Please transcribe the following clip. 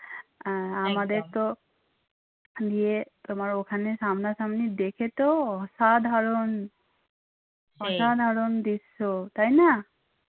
আর আমাদের তো ইয়ে তোমার ওখানে সামনাসামনি দেখে তো অসাধারন অসাধারণ দৃশ্য তাই না?